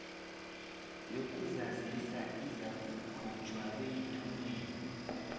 yokuzazisa izakukhutjhwa beyithunyelelwe